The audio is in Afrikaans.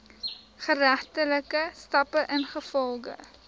geregtelike stappe ingevolge